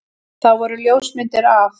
Það voru ljósmyndir af